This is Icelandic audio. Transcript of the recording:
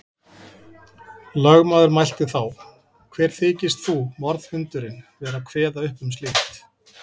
Lögmaður mælti þá: Hver þykist þú, morðhundurinn, vera að kveða upp um slíkt.